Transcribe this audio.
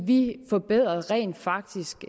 vi forbedrede rent faktisk